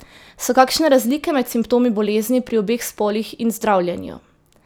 So kakšne razlike med simptomi bolezni pri obeh spolih in zdravljenju?